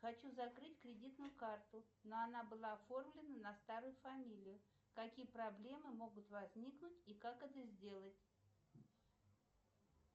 хочу закрыть кредитную карту но она была оформлена на старую фамилию какие проблемы могут возникнуть и как это сделать